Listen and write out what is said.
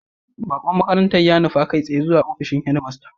Baqon makarantar ya nufa kai tsaye ofishin head master